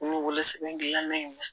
N ye wolosɛbɛn dilannen ye